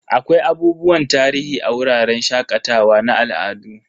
Akwai abubuwan tarihi a wuraren shakatawa na al'adu.